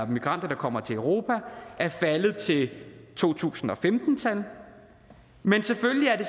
migranter der kommer til europa er faldet til to tusind og femten tallet men selvfølgelig er det